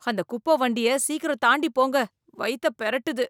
அந்தக் குப்ப வண்டிய சீக்கிரம் தாண்டிப் போங்க. வயித்தப் பெரட்டுது.